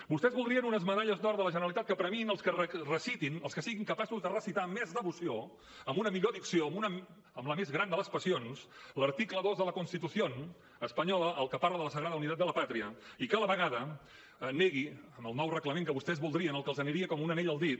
vostès voldrien unes medalles d’or de la generalitat que premiïn els que recitin els que siguin capaços de recitar amb més devoció amb una millor dicció amb la més gran de les passions l’article dos de la constitución espanyola el que parla de la sagrada unidad de la patria i que a la vegada negui en el nou reglament que vostès voldrien el que els aniria com un anell al dit